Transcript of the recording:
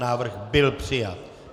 Návrh byl přijat.